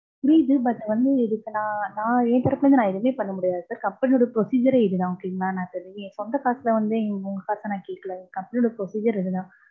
புரியுது but வந்து இதுக்கு நான், நான் ஏன் தரப்புல இருந்து எதுவுமே பண்ண முடியாது. company யோட procedure யே இதுதான். okay ங்களா. நான் சரி. சொந்த காசுல வந்து உங்க காச நான் கேக்கல. company யோட procedure இதுதான்.